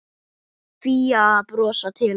Fía að brosa til hans.